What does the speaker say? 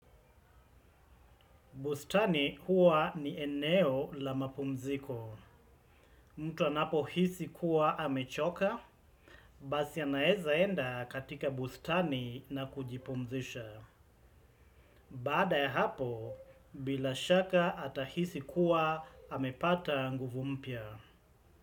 Bustani huwa ni eneo la mapumziko. Mtu anapo hisi kuwa amechoka. Basi anaeza enda katika bustani na kujipumzisha. Baada ya hapo, bila shaka atahisi kuwa amepata nguvu mpya.